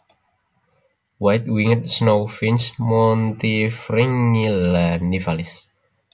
White winged Snowfinch Montifringilla nivalis